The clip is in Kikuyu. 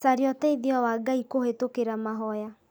Caria ũteithio wa Ngai kũhĩtũkĩra mahoya